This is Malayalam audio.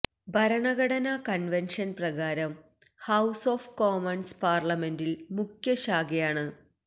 ഭരണഘടനാ കൺവെൻഷൻ പ്രകാരം ഹൌസ് ഓഫ് കോമൺസ് പാർലമെന്റിന്റെ മുഖ്യശാഖയാണ്